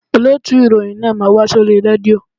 Olóòtù ìròyìn náà máa wá sórí rédíò